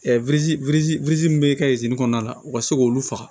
min bɛ kɛ kɔnɔna la u ka se k'olu faga